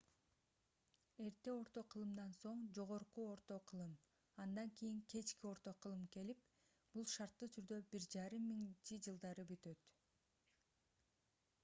эрте орто кылымдан соң жогорку орто кылым андан кийин кечки орто кылым келип бул шарттуу түрдө 1500-жылдары бүтөт